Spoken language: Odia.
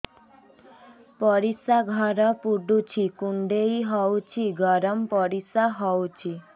ପରିସ୍ରା ଘର ପୁଡୁଚି କୁଣ୍ଡେଇ ହଉଚି ଗରମ ପରିସ୍ରା ହଉଚି